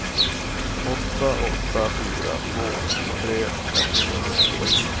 åtta åtta fyra två tjugotre etthundrafyrtionio